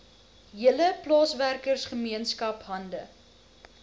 hele plaaswerkergemeenskap hande